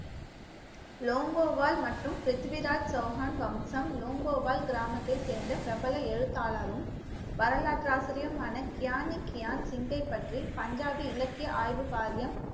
லோங்கோவாள் மற்றும் பிரித்திவிராஜ் சௌஹான் வம்சம் லோங்கோவால் கிராமத்தை சேர்ந்த பிரபல எழுத்தாளரும் வரலாற்று ஆசிரியருமான கியானிக் கியான் சிங்கை பற்றி பஞ்சாபி இலக்கிய ஆய்வு வாரியம்